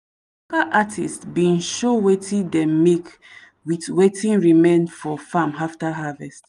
artist bin show wetin dem make with wetin remain for farm after harvest.